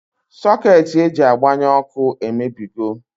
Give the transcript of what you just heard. Socketị eji agbanye ọkụ emebigo